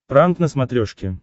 пранк на смотрешке